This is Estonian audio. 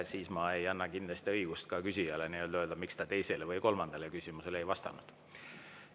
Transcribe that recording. Siis ma ei anna kindlasti ka küsijale õigust küsida, miks vastaja teisele või kolmandale küsimusele ei vastanud.